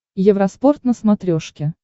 евроспорт на смотрешке